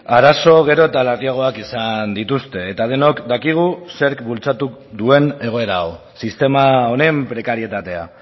arazo gero eta larriagoak izan dituzte eta denok dakigu zerk bultzatu duen egoera hau sistema honen prekarietatea